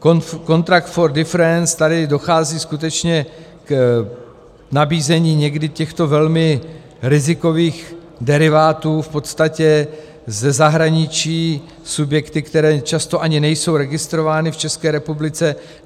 Contract for difference, tady dochází skutečně k nabízení někdy těchto velmi rizikových derivátů v podstatě ze zahraničí subjekty, které často ani nejsou registrovány v České republice.